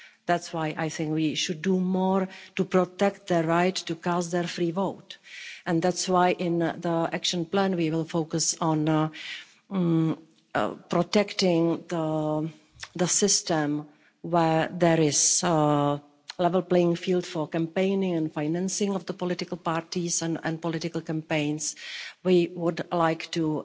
That's why I think we should do more to protect their right to cast their free vote and that's why in the action plan, we will focus on protecting the system where there is a level playing field for campaigning and financing of the political parties and political campaigns. We would like to